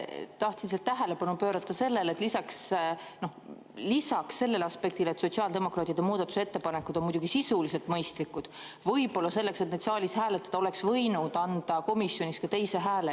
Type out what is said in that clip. Tahtsin lihtsalt tähelepanu pöörata sellele, et lisaks sellele aspektile, et sotsiaaldemokraatide muudatusettepanekud on muidugi sisuliselt mõistlikud, võib-olla selleks, et neid saalis hääletada, oleks võinud anda komisjonis ka teise hääle.